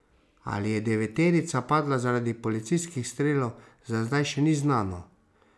Ali je deveterica padla zaradi policijskih strelov, za zdaj še ni znano.